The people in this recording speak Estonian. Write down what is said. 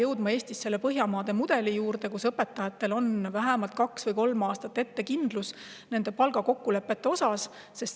Me peame Eestis jõudma Põhjamaade mudeli juurde, kus palgakokkulepped õpetajatele kindluse vähemalt kaheks või kolmeks aastaks ette.